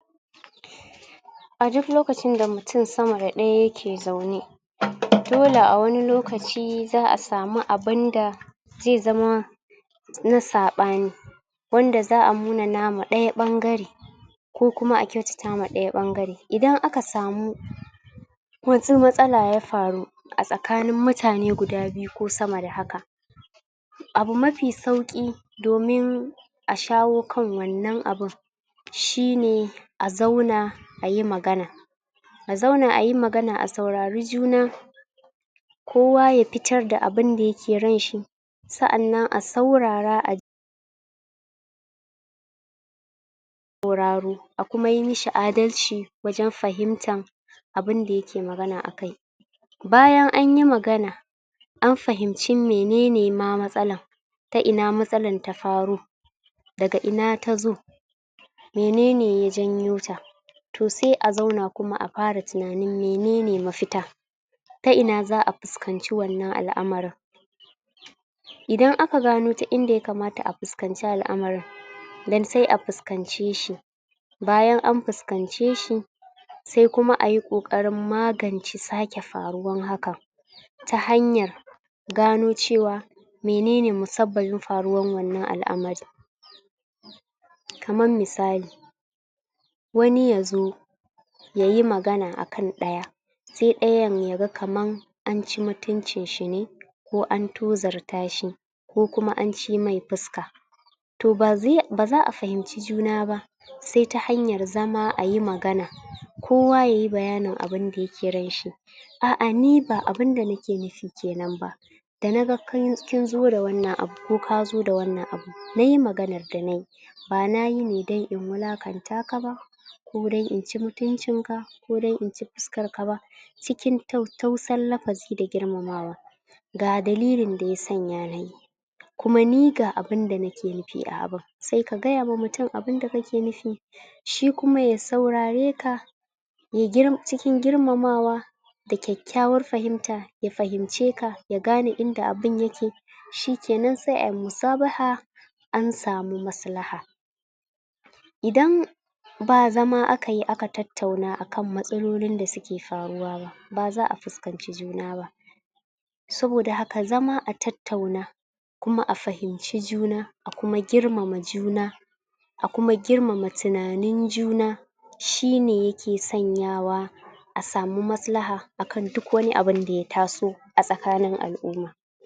a duk lokacin da mutum sama da ɗaya yake zaune dole a wani lokaci za'a samu abunda zai zama na saɓani. wanda za'a munanawa ɗaya ɓangare ko kuma a kyautatawa ɗaya ɓangare idan aka samu ko matsala ya faru a tsakanin mutane guda biyu ko sama da haka abu mafi sauƙi domin a shawo kan wannan abun shine a zauna ayi magana a zauna ayi magana a saurari juna kowa ya fitar da abinda yake ranshi sa'annan a saurara a ji sauraro a kuma yi mashi adalci wajen fahimtan abunda yake magana akai. bayan anyi magana an fahimci menene ma matsalan ta ina matsalan ta faro daga ina tazo menene ya janyo ta to sai a zauna kuma a fara tunanin menene mafita ta ina za'a fuskanci wannan al'amarin idan aka gano ta inda ya kamata a fuskanci al'amarin dan sai a fuskance shi bayan an fuskance shi sai kuma ayi ƙoƙarin magance sake faruwan hakan ta hanyar gano cewa menene musabbabin faruwar wannan al'amarin kaman misali wani yazo yayi magana akan ɗaya sai ɗayan yaga kaman anci mutuncin shi ne ko an tozarta shi ko kuma an cimai fuska to baza'a fahimci juna ba sai ta hanyar zama ayi magana kowa yayi bayanin abunda yake ranshi a'a ni ba abunda nake nufi kenan ba da naga kinzo da wannan abu ko kazo da wannan abu ni maganar da nayi ba nayi ne dan in wulakanta ka ba ko dan inci mutuncin ka ko dan inci fuskar ka ba cikin tattausan lafazi da girmamawa. ga dalilin da ya sana nayi kuma ni ga abunda nake nufi a abun sai ka gayawa mutum abunda kake nufi shi kuma ya saurare ka ya gir cikin girmama wa da kyakkyawar fahimta ya fahimce ka ya gane inda abun yake shikenan sai ayi musabaha an samu maslaha. idan ba zama akayi aka tattauna akan matsalolin da suke faruwaba ba za'a fuskanci juna ba saboda haka zama a tattauna kuma a fahimci juna akuma girmama juna a kuma girmama tunanin juna shine yake sanya wa a samu maslaha akan duk wani abun da ya taso a tsakanin al'umma.